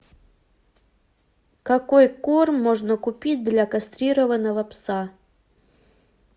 какой корм можно купить для кастрированного пса